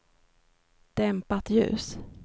dämpat ljus